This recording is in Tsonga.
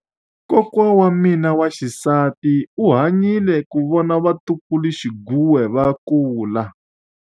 Kokwa wa mina wa xisati u hanyile ku vona vatukuluxinghuwe va kula.